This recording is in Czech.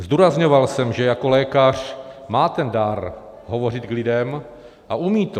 Zdůrazňoval jsem, že jako lékař má ten dar hovořit k lidem a umí to.